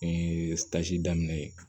N ye daminɛ